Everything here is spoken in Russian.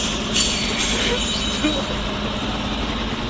ха-ха что блядь ха-ха